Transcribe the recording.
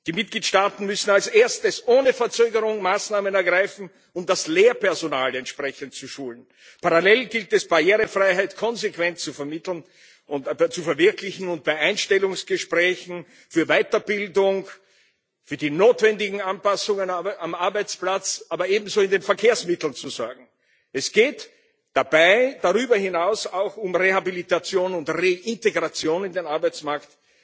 Die Mitgliedstaaten müssen als Erstes ohne Verzögerungen Maßnahmen ergreifen, um das Lehrpersonal entsprechend zu schulen. Parallel gilt es, Barrierefreiheit konsequent zu vermitteln und zu verwirklichen und bei Einstellungsgesprächen für Weiterbildung und für die notwendigen Anpassungen am Arbeitsplatz, aber ebenso in den Verkehrsmitteln, zu sorgen. Es geht dabei darüber hinaus auch um Rehabilitation und Reintegration in den Arbeitsmarkt.